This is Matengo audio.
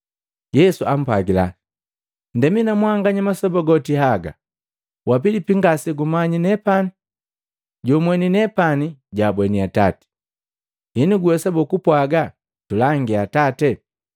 Yesu ampwagila, “Ndemi na mwanganya masoba goti haga, wa Pilipi ngase gumanyi nepane? Jojumweni nepani jwaabweni Atati. Henu guwesabo kupwaga, ‘Tulangia Atate?’